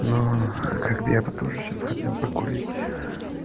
но как бы я бы тоже сейчас хотел покурить